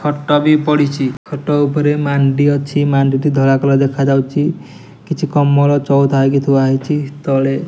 ଖଟବି ପଡିଛି ଖଟଉପରେ ମାଣ୍ଡି ଅଛି ମାଣ୍ଡିଟି ଧଳା କଲର ଦେଖାଯାଉଛି କିଛି କମଳ ଚଉଥା ହୋଇଥୁଆ ହୋଇଛି ତଳେ।